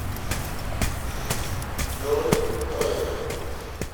джой сори